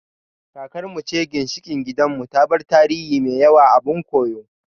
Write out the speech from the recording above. Kakar mu ce ginshiƙin gidan mu, ta bar tarihi mai yawa abun koyo